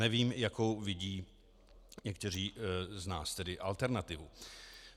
Nevím, jakou vidí někteří z nás tedy alternativu.